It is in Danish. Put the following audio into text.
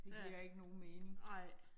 Ja. Nej